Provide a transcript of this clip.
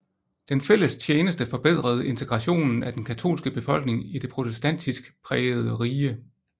Den fælles tjeneste forbedrede integrationen af den katolske befolkning i det protestantisk prægede rige